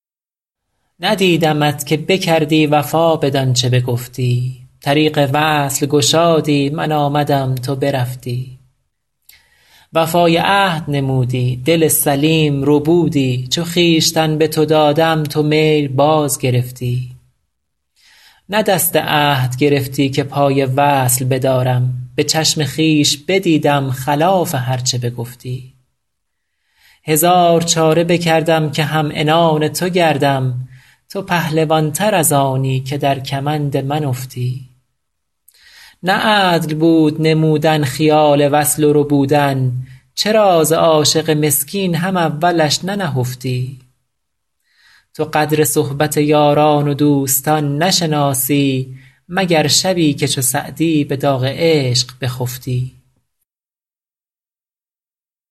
ندیدمت که بکردی وفا بدان چه بگفتی طریق وصل گشادی من آمدم تو برفتی وفای عهد نمودی دل سلیم ربودی چو خویشتن به تو دادم تو میل باز گرفتی نه دست عهد گرفتی که پای وصل بدارم به چشم خویش بدیدم خلاف هر چه بگفتی هزار چاره بکردم که هم عنان تو گردم تو پهلوان تر از آنی که در کمند من افتی نه عدل بود نمودن خیال وصل و ربودن چرا ز عاشق مسکین هم اولش ننهفتی تو قدر صحبت یاران و دوستان نشناسی مگر شبی که چو سعدی به داغ عشق بخفتی